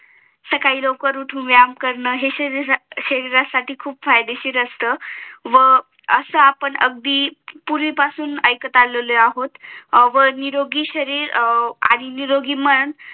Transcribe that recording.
सकाळी लवकर उठून व्यायाम करणं हे शरीरासाठी खूप फायदेशीर असत व व असं आपण अगदी पूर्वी पासून ऐकत आलो आहो निरोगी शरीर आणि निरोगी मन